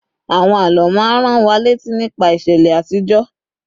àwọn àlọ ma n ran wa létí nípa ìṣẹlẹ àtijó